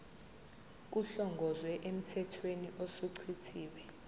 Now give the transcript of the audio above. kuhlongozwe emthethweni osuchithiwe